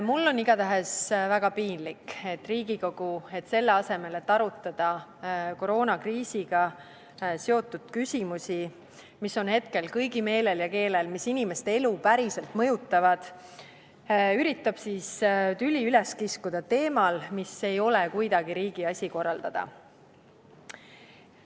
Mul on igatahes väga piinlik, et Riigikogu selle asemel, et arutada koroonakriisiga seotud küsimusi, mis on hetkel kõigi meelel ja keelel ja mis inimeste elu päriselt mõjutavad, üritab üles kiskuda tüli teemal, mis ei ole kuidagi riigi asi korraldada.